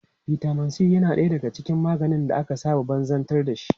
Vitamin C na ɗaya daga cikin maganin da aka saba banzabtar dashi.